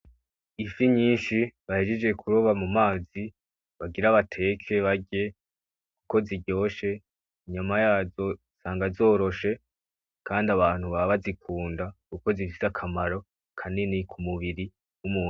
Ifi nyishi bahejeje kuroba mu mazi bagira bateke barye ko ziryoshe inyuma yazo usanga zoroshe kandi abantu baba bazikunda kuko zifise akamaro kanini ku mubiri w'umuntu.